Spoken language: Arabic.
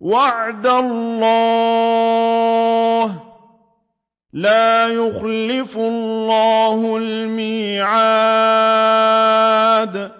وَعْدَ اللَّهِ ۖ لَا يُخْلِفُ اللَّهُ الْمِيعَادَ